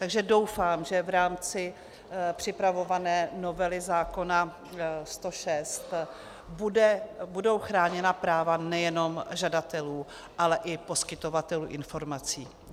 Takže doufám, že v rámci připravované novely zákona 106 budou chráněna práva nejenom žadatelů, ale i poskytovatelů informací.